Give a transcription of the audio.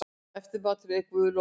Eftirmatur, ef guð lofar.